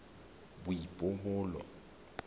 boipobolo